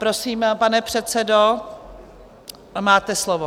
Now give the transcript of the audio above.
Prosím, pane předsedo, máte slovo.